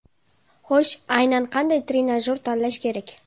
Xo‘sh, aynan qanday trenajyor tanlash kerak?